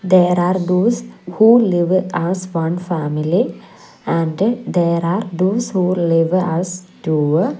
there are those who live as one family and there are those who live as two.